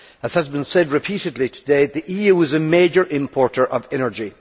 As has been said repeatedly today, the EU is a major importer of energy.